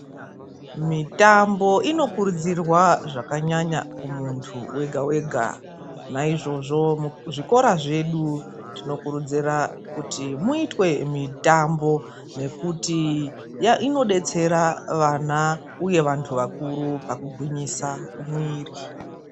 Mitambo inokurudzirwa zvakanyanya kumuntu wega wega. Naizvozvo, muzvikora zvedu tinokurudzira kuti muitwe mitambo nekuti inodetsera vana uye vanhu vakuru pakugwinyisa mwiri.